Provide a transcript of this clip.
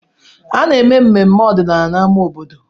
Ana-eme mmemme ọdịnala n'amá obodo.